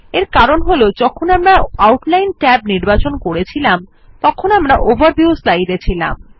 এর কারণ হল যখন আমরা আউটলাইন ট্যাব নির্বাচন করেছিলাম তখন আমরা ওভারভিউ স্লাইডে ছিলাম